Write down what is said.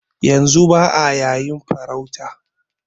Yanzu ba'a yayin farauta